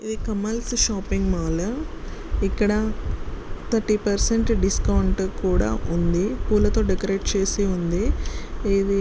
'' Kamal's shopping mall ఇక్కడ thirty percent discount కూడా ఉంది పూలతో డెకోరేట్ చేసి ఉంది ఇది ''''--''''''